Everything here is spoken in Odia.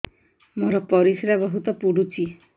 ମୋର ପରିସ୍ରା ବହୁତ ପୁଡୁଚି